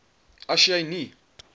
as jy nie